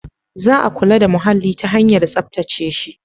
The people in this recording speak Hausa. Za a kula da muhalli ta hanyar tsaftace shi.